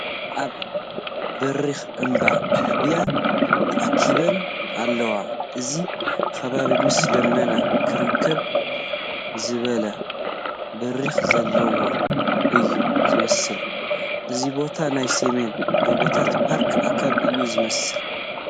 ኣብ በሪኽ እምባ ኣህባይ ተኣኪበን ኣለዋ፡፡ እዚ ከባቢ ምስ ደመና ክራኸብ ዝበለ ብራኸ ዘለዎ እዩ ዝመስል፡፡ እዚ ቦታ ናይ ሰሜን ጐቦታት ፓርክ ኣካል እዩ ዝመስል፡፡